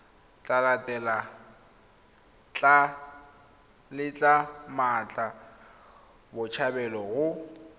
tla letla mmatla botshabelo go